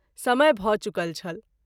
समय भ’ चुकल छल।